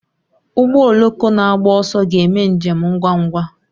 Ụgbọ oloko na-agba ọsọ ga-eme njem ngwa ngwa